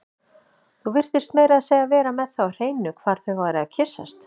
Þú virtist meira að segja vera með það á hreinu hvar þau væru að kyssast